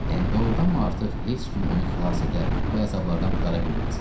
Yəni doğurdanmı artıq heç kim onu xilas edə, bu əzablardan qurtara bilməz?